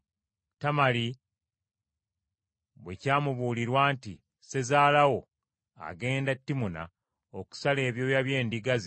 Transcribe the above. Tamali bwe kyamubuulirwa nti, “Sezaala wo agenda e Timuna okusala ebyoya by’endiga ze,”